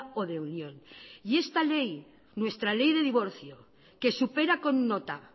o de unión y esta ley nuestra ley de divorcio que supera con nota